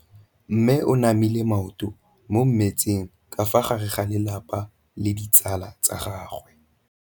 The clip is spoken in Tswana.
Mme o namile maoto mo mmetseng ka fa gare ga lelapa le ditsala tsa gagwe.